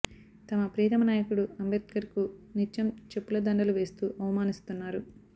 తమ ప్రియతమ నాయకుడు అంబేడ్కర్ కు నిత్యం చెప్పుల దండలువేస్తూ అవమానిస్తున్నారు